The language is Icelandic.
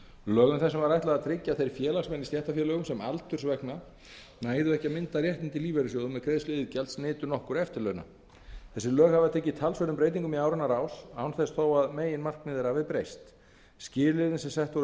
lögum þessum var ætlað að tryggja að þeir félagsmenn í stéttarfélögum sem aldurs vegna næðu ekki að mynda réttindi í lífeyrissjóðum með greiðslu iðgjalds nytu nokkurra eftirlauna þessi lög hafa tekið talsverðum breytingum í áranna rás án þess þó að meginmarkmið þeirra hafi breyst skilyrðin sem sett voru